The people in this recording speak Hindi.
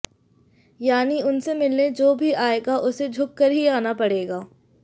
यानि उनसे मिलने जो भी आएगा उसे झुक कर ही आना पड़ेगा